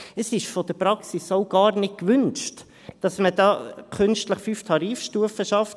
Es ist von der Praxis auch gar nicht gewünscht, dass man da künstlich 5 Tarifstufen schafft.